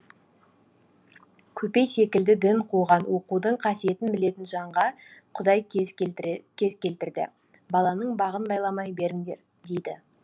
көпей секілді дін қуған оқудың қасиетін білетін жанға құдай кез келтірді баланың бағын байламай беріңдер дейді